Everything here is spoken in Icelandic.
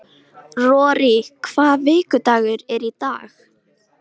Rorí, hvaða vikudagur er í dag?